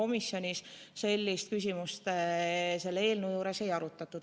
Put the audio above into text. Ja komisjonis sellist küsimust selle eelnõu puhul ei arutatud.